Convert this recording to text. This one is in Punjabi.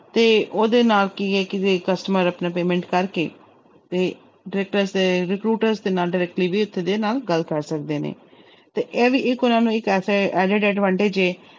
ਤੇ ਉਹਦੇ ਨਾਲ ਕੀ ਹੈ ਕਿ ਜੇ customer ਆਪਣਾ payment ਕਰਕੇ ਤੇ recruiter ਦੇ ਨਾਲ Directly ਦੇ ਨਾਲ ਗੱਲ ਕਰ ਸਕਦੇ ਨੇ ਤੇ ਇਹ ਵੀ ਇੱਕ ਐਸੇ advantage ਹੈ